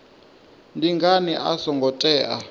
ndi ngani a songo tea